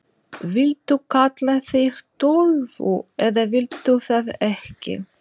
Viltu kalla þig Tólfu eða viltu það ekki?